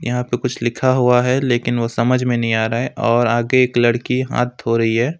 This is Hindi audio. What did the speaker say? यहां पे कुछ लिखा हुआ है लेकिन वह समझ में नहीं आ रहा है और आगे एक लड़की हाथ धो रही है।